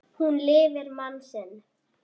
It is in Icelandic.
Hún lifir mann sinn.